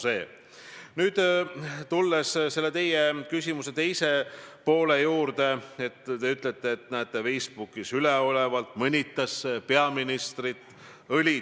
Palun kommenteerige peaministri sellist täiesti arusaamatut väidet, kui teie olete aru saanud, et prokuratuur on kallutatud, ajab taga teie omi ja päästab vabaks teiste omi.